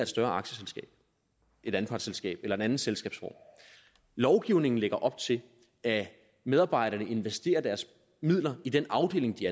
større aktieselskab et anpartsselskab eller en anden selskabsform lovgivningen lægger op til at medarbejderne investerer deres midler i den afdeling de